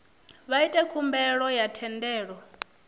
vha ite khumbelo ya thendelo